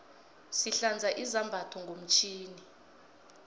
sihlanza izambatho ngomtjhini